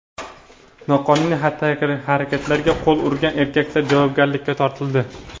Noqonuniy xatti-harakatlarga qo‘l urgan erkaklar javobgarlikka tortildi.